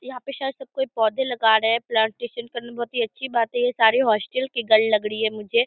यहां पे शायद सब कोई पौधे लगा रहे है प्लांटेशन करना अच्छी बात है ये सारी हॉस्टल की गर्ल लग रही है मुझे।